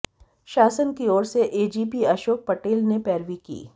शासन की ओर से एजीपी अशोक पटेल ने पैरवी की